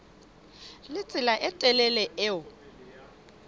le tsela e telele eo